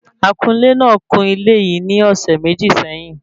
Akunlè náà kún ilé yìí ní ọ̀sẹ̀ méjì sẹ́yìn